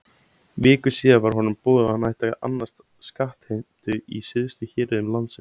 Viku síðar var honum boðið að hann ætti að annast skattheimtu í syðstu héruðum landsins.